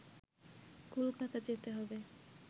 কলকাতা যেতে হবে